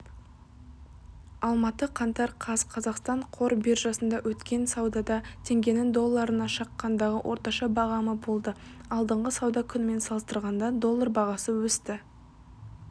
алматы қаңтар қаз қазақстан қор биржасында өткен саудада теңгенің долларына шаққандағы орташа бағамы болды алдыңғы сауда күнімен салыстырғанда доллар бағасы өсті